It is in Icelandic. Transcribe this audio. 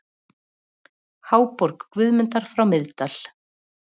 Háborg Guðmundar frá Miðdal